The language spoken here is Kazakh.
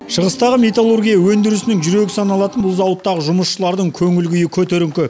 шығыстағы металлургия өндірісінің жүрегі саналатын бұл зауыттағы жұмысшылардың көңіл күйі көтеріңкі